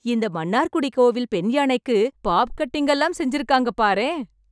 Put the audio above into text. இந்த மன்னார்குடி கோவில் பெண்யானைக்கு, பாப் கட்டிங்லாம் செஞ்சிருக்காங்க பாரேன்.